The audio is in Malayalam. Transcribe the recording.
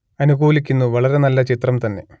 അനുകൂലിക്കുന്നു വളരെ നല്ല ചിത്രം തന്നെ